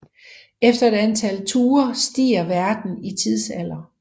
Efter et antal ture stiger verden i tidsalder